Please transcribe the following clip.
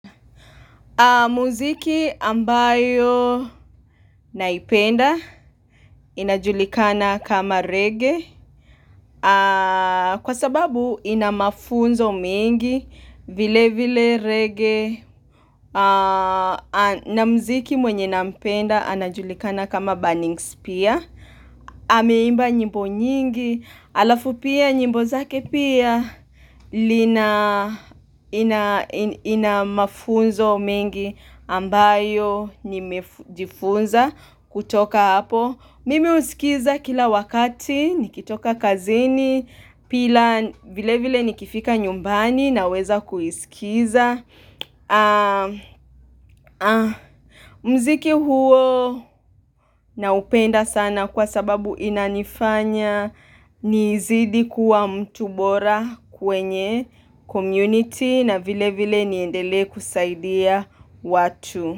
Muziki ambayo naipenda inajulikana kama reggae kwa sababu ina mafunzo mingi vile vile reggae na mziki mwenye nampenda anajulikana kama burning spear. Ameimba nyimbo nyingi halafu pia nyimbo zake pia lina Inamafunzo mengi ambayo nimejifunza kutoka hapo. Mimi husikiza kila wakati nikitoka kazini Pia vile vile nikifika nyumbani Naweza kuisikiza muziki huo Naupenda sana kwa sababu inanifanya nizidi kuwa mtu bora kwenye community na vile vile niendelee kusaidia watu.